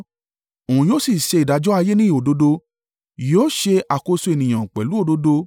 Òun yóò sì ṣe ìdájọ́ ayé ní òdodo; yóò ṣe àkóso ènìyàn pẹ̀lú òdodo.